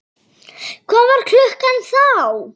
Hvað var klukkan þá?